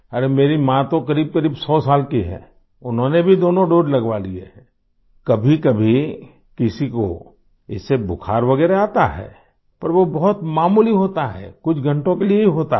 अरे मेरी माँ तो क़रीबक़रीब 100 साल की हैं उन्होंने भी दोनों दोसे लगवा लिए हैं आई कभीकभी किसी को इससे बुखार वगैरह आता है पर वो बहुत मामूली होता है कुछ घंटो के लिए ही होता है